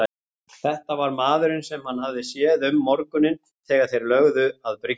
Þetta var maðurinn sem hann hafði séð um morguninn þegar þeir lögðu að bryggjunni.